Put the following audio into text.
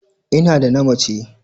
Ina da na mace.